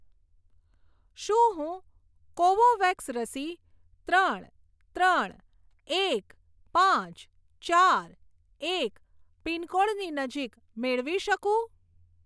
શું હું કોવોવેક્સ રસી ત્રણ ત્રણ એક પાંચ ચાર એક પિનકોડની નજીક મેળવી શકું?